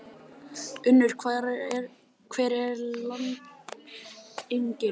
Unnur, hver er lendingin?